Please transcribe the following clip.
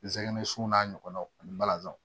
Zɛgɛnɛ sun n'a ɲɔgɔnnaw ani balazan